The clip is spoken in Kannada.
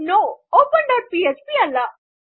ಒಪನ್ ಡಾಟ್ ಪಿಎಚ್ಪಿ ಅಲ್ಲ